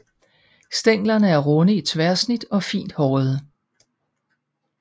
Stænglerne er runde i tværsnit og fint hårede